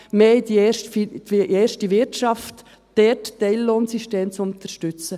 mehr in die erste Wirtschaft, dort Teillohnsysteme zu unterstützen.